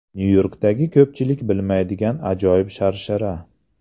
Nyu-Yorkdagi ko‘pchilik bilmaydigan ajoyib sharshara .